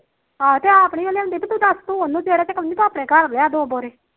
ਆਹੋ ਤੇ ਆਪ ਨੀ ਲਿਉਂਦੀ ਪੀ ਦੱਸ ਨੂੰ ਉਹਨੂੰ ਜਿਹੜਾ ਚਕਾਊਂਦੀ ਆਪਣੇ ਘਰ ਲਿਆ ਦੋ ਬੋਰੀ